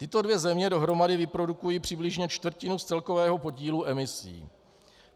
Tyto dvě země dohromady vyprodukují přibližně čtvrtinu z celkového podílu emisí.